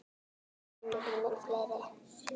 Árin urðu mun fleiri.